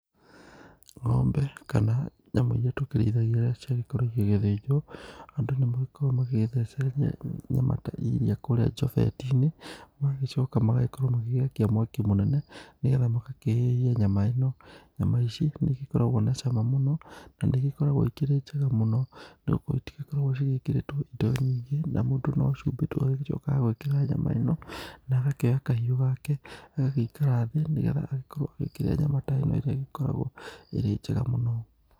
Ng'ombe kana nyamũ iria tũkĩrĩithagia rĩrĩa ciagĩkorwo igĩgĩthĩnjwo ,andũ nĩmagikoragwo magĩtheecereria nyama ta iriia kũrĩa njobeti-inĩ, magagĩcoka magagikorwo magĩakia mwaki mũnene ,nĩgetha magakĩhĩhia nyama ĩno. Nyama ici nĩigĩkoragwo na cama mũno ,na nĩigĩkoragwo ikĩrĩ njega mũno nĩgũkorwo itigĩkoragwo cigĩkĩrĩtwo indo nyingĩ na mũndũ no cuumbĩ tu agagĩcoka gwĩkĩra nyama ĩno, na agakĩoya kahiũ gake, agagĩikara thĩ nigetha agĩkorwo agĩkĩria nyama ta ĩno ĩrĩa igĩkoragwo ĩrĩ njega mũno.